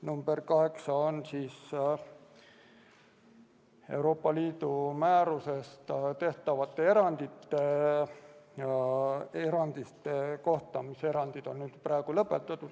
Number 8 on Euroopa Liidu määrusest tehtavate erandite kohta, mis on praegu lõpetatud.